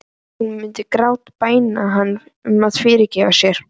Hún myndi grátbæna hann um að fyrirgefa sér.